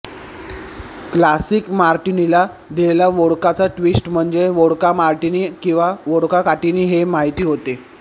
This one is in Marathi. क्लासिक मार्टीनीला दिलेला वोडकाचा ट्वीस्ट म्हणजे वोडका मार्टीनी किंवा वोडकाटीनी हे माहिती होते